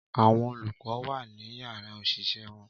Àwọn olùkọ́ wa ni yàrá òṣìṣẹ́ wọn